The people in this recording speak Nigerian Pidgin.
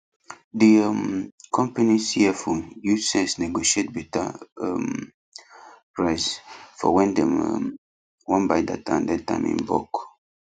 the um company cfo use sense negotiate better um price for when dem um wan buy data and airtime in bulk